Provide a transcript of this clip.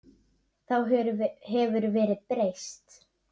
Þá hefur verðið breyst.